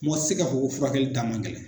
Mɔgɔ ti se k'a fɔ kofurakɛli da man gɛlɛn.